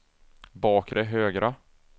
bakre högra